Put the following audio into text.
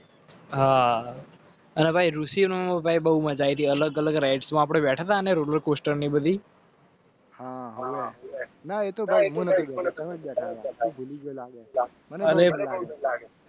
હા. બહુ મજા આઈ થી અલગ અલગ. હા હા.